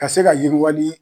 Ka se ka yiriwali di